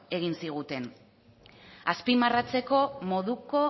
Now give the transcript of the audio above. egin ziguten azpimarratzeko moduko